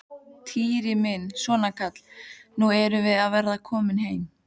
Týri minn, svona kallinn, nú erum við að verða komin.